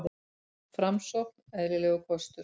Framsókn eðlilegur kostur